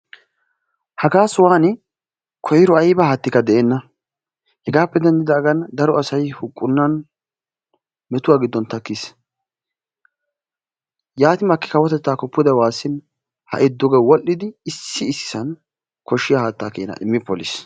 Hagaa sohuwani koyro ayba haattikka de"enna. Hegaape denddidaagan daro asayi huqqunnan tamkkis. Yaati makki kawotettaakko pude waassin ha"i duge wodhdhidi issi issisan koshshiya haattaa keenaa immi polis.